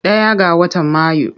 Ɗaya ga watan Mayu.